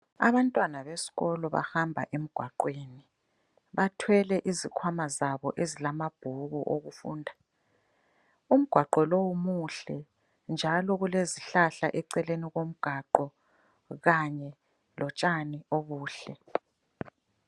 Abantwana besikolo bahamba emgwaqweni. Bathwele izikhwama zabo ezilamabhuku okufunda. Umgwaqo lowu muhle njalo kulezihlahla eceleni komgwaqo kanye lotshani obuhle.